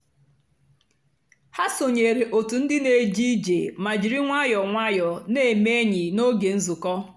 ha sònyèrè otù ndì na-èjé ìjé mà jìrì nwayọ́ọ́ nwayọ́ọ́ na-èmè ényì n'ógè nzukọ́.